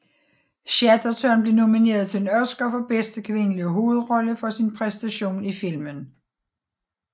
Chatterton blev nomineret til en Oscar for bedste kvindelige hovedrolle for sin præstation i filmen